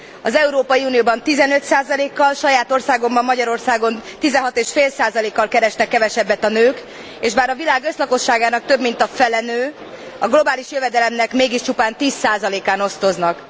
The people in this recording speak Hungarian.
Az Európai Unióban 15 kal, saját országomban, Magyarországon 16,5 kal keresnek kevesebbet a nők, és bár a világ összlakosságának több mint a fele nő, a globális jövedelemnek mégis csupán tíz százalékán osztoznak.